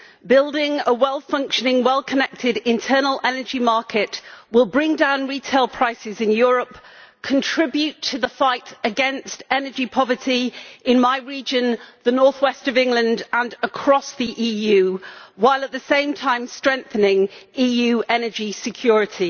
Building a well functioning, well connected internal energy market will bring down retail prices in Europe, contribute to the fight against energy poverty in my region, the Northwest of England, and across the EU, while at the same time strengthening EU energy security.